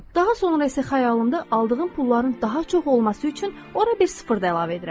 Daha sonra isə xəyalımda aldığım pulların daha çox olması üçün ora bir sıfır da əlavə edirəm.